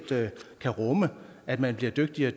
kan rumme at man bliver dygtigere